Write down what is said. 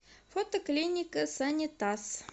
фото клиника санитас